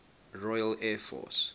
royal air force